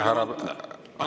Aitäh!